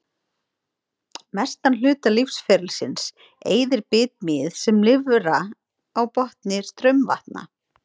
Mestan hluta lífsferilsins eyðir bitmýið sem lirfa á botni straumvatna.